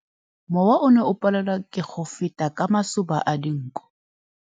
Mowa o ne o palelwa ke go feta ka masoba a dinko.